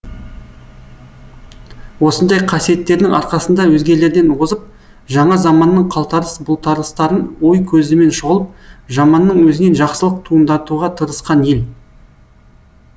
осындай қасиеттерінің арқасында өзгелерден озып жаңа заманның қалтарыс бұлтарыстарын ой көзімен шолып жаманның өзінен жақсылық туындатуға тырысқан ел